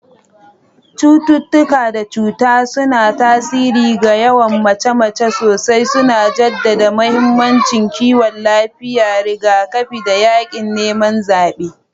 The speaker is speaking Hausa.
Cututtuka da cuta suna tasiri ga yawan mace-mace sosai, suna jaddada mahimmancin kiwon lafiya, rigakafi, da yaƙin neman zaɓe.